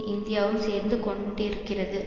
இந்தியாவும் சேர்ந்து கொண்டிருக்கிறது